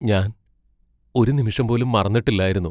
ഞാൻ ഒരു നിമിഷം പോലും മറന്നിട്ടില്ലായിരുന്നു.